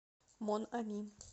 мон ами